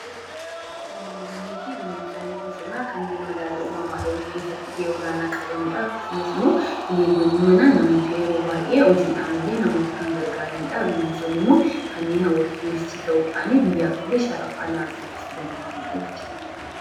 Bineeldonnii fi bineensonni bosonaa kanneen madaala uumamaa eeguu keessatti gahee olaana qabani dha. Akkasumas immoo bineeldonni manaa namoota yeroo baay'ee hojiidhaan illee namoota kan gargaarani dha. Bineensonni immoo kan hawwata turistii ta'uudhaani biyyaaf illee sharafa alaa argamsiisani dha.